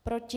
Proti?